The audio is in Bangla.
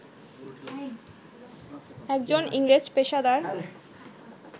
একজন ইংরেজ পেশাদার